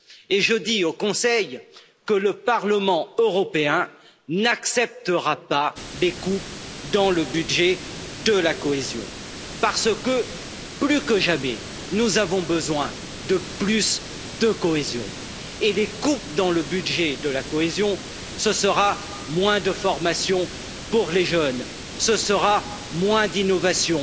Et je dis au Conseil que le Parlement européen n'acceptera pas des coupes dans le budget de la cohésion parce que, plus que jamais, nous avons besoin de plus de cohésion et les coupes dans le budget de la cohésion, ce sera moins de formation pour les jeunes, ce sera moins d'innovation,